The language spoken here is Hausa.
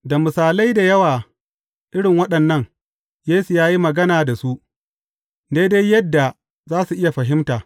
Da misalai da yawa irin waɗannan, Yesu ya yi magana da su, daidai yadda za su iya fahimta.